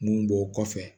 Mun b'o kɔfɛ